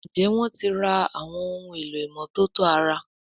Njé wón tí rà Àwọn ohun èlò ìmọ́tótó ara?